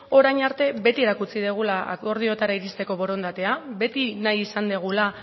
orain arte beti erakutsi dugula akordioetara iristeko borondatea beti nahi izan dugula